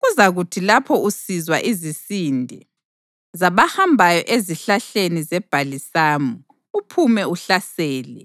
Kuzakuthi lapho usizwa izisinde zabahambayo ezihlahleni zebhalisamu, uphume uhlasele,